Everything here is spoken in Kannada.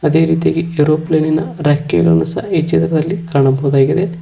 ಅದೇ ರೀತಿಯಾಗಿ ಏರೋಪ್ಲೇನಿನ ರೆಕ್ಕೆಗಳನ್ನ ಸಹ ಈ ಚಿತ್ರದಲ್ಲಿ ಕಾಣಬಹುದಾಗಿದೆ.